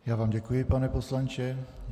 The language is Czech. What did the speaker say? Já vám děkuji, pane poslanče.